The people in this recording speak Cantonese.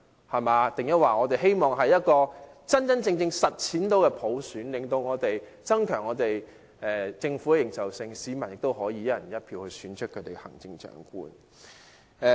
我們是否希望能真正實踐普選，增強政府的認受性，讓市民以"一人一票"方式選出行政長官？